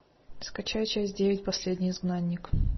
скачай часть девять последний изгнанник